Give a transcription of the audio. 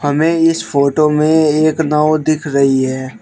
हमें इस फोटो में एक नाव दिख रही है।